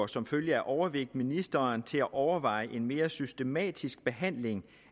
som følge af overvægt ministeren til at overveje en mere systematisk behandling